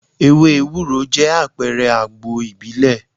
Ewé Ewúro jẹ́ àpẹrẹ àgbo ìbílẹ̀.